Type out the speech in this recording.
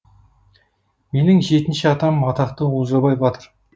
менің жетінші атам атақты олжабай батыр